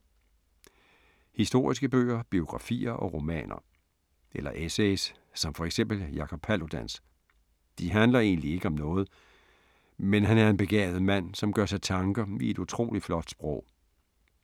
Historiske bøger, biografier og romaner. Eller essays som for eksempel Jakob Paludans. De handler egentlig ikke om noget, men han er en begavet mand, som gør sig tanker i et utroligt flot sprog.